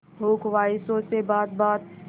हो ख्वाहिशों से बात बात